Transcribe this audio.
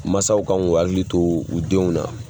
Mansaw kan k'o hakili to u denw na.